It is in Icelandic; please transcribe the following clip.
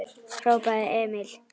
hrópaði Emil.